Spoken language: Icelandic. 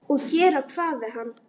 Og gera hvað við hann?